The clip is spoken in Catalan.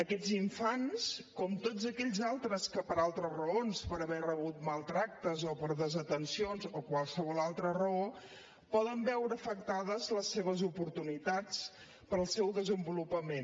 aquests infants com tots aquells altres que per altres raons per haver rebut maltractaments o per desatencions o qualsevol altra raó poden veure afectades les seves oportunitats per al seu desenvolupament